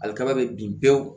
Ali kaba be bin pewu